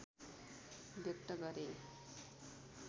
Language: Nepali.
व्यक्त गरे